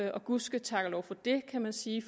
og gud ske tak og lov for det kan man sige